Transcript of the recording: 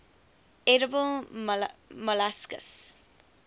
edible molluscs